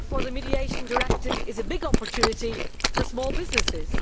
So the Mediation Directive is a big opportunity for small businesses.